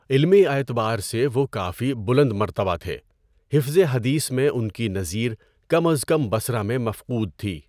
علمی اعتبار سے وہ کافی بلند مرتبہ تھے، حفظِ حدیث میں ان کی نظیر کم از کم بصرہ میں مفقود تھی۔